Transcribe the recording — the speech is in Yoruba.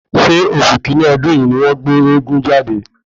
Ṣé oṣù kínní ọdún yìí ni wọ́n gbé eégún jáde?